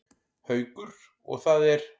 Haukur: Og það er?